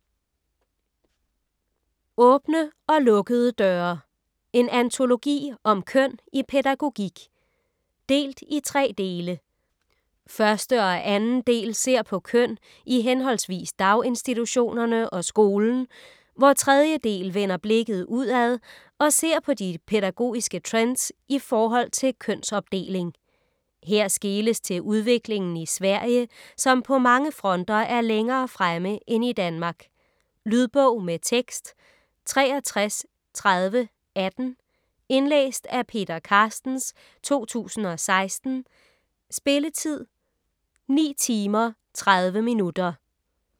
Åbne og lukkede døre: en antologi om køn i pædagogik Delt i tre dele: Første og anden del ser på køn i hhv. daginstitutionerne og skolen, hvor tredje del vender blikket udad og ser på de pædagogiske trends ift. kønsopdeling. Her skeles til udviklingen i Sverige, som på mange fronter er længere fremme end i Danmark. Lydbog med tekst 633018 Indlæst af Peter Carstens, 2016. Spilletid: 9 timer, 30 minutter.